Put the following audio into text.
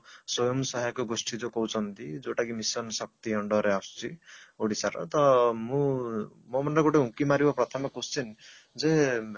ସ୍ଵୟଂ ସହାୟକ ଗୋଷ୍ଠୀ ଯଉ କହୁଛନ୍ତି ଯଉଟା କି mission ଶକ୍ତି under ରେ ଆସୁଛି ଓଡିଶାର ତ ମୁଁ ମୋ ମନରେ ଗୋଟେ ଉଙ୍କି ମାରିବ ପ୍ରଥମେ question ଯେ